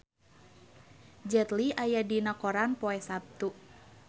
Jet Li aya dina koran poe Saptu